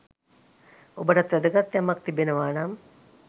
ඔබටත් වැදගත් යමක් තිබෙනවානම්